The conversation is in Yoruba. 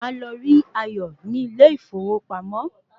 Máa lọ rí Ayọ̀ ní ilé ìfowópamọ́